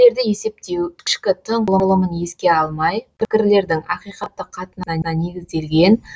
пікірлерді есептеу ішкі тың құрылымын еске алмай пікірлердің ақиқаттық қатынасына негізделген